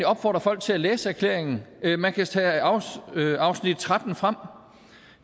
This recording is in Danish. opfordre folk til at læse erklæringen man kan tage afsnit tretten frem